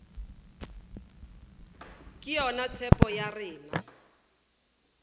ke yona tshepo ya rena